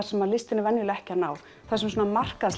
sem listin er venjulega ekki að ná þar sem svona